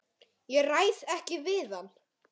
Ég ræð ekki við hann!